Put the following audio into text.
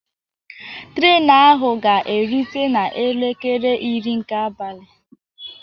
Trenu ahu ga erute na elekere iri nke abalị